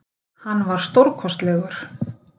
Hann var stórkostlegur